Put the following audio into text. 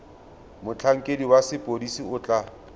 motlhankedi wa sepodisi o tla